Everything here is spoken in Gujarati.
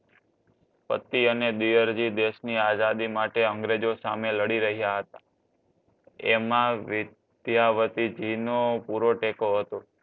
પતિ અને દિયરજી દેશની આઝાદી માટે અંગ્રેજો સામે લડી રહ્યા હતા. એમાં વિદ્યાવતીજીનો પૂરો ટેકો હતો.